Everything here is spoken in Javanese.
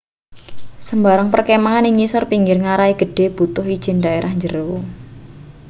sembarang perkemahan ing ngisor pinggir ngarai gedhe butuh ijin daerah njero